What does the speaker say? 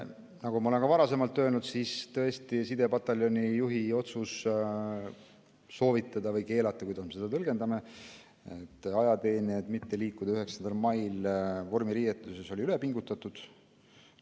Nagu ma olen ka varasemalt öelnud, siis tõesti sidepataljoni juhi otsus soovitada või keelata – oleneb, kuidas me seda tõlgendame – ajateenijatel mitte liikuda 9. mail vormiriietuses, oli üle pingutatud.